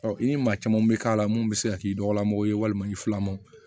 i ni maa caman bɛ k'a la mun bɛ se ka k'i dɔgɔla mɔgɔw ye walima i fila ma